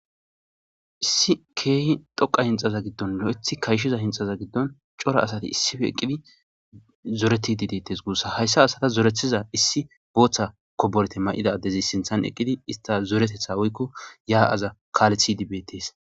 issi keehi dhoqa hinxaza giddon lo7ethi kayshiza hinxaza giddon cora asati issife eqqidi zoreti di dettes guussa hayssa asata zorethiza issi booththa koborete may7ida addezi sinthan eqqidi ista zoretetha woykko yaa7aza kaalethi dibetes